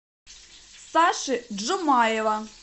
саши джумаева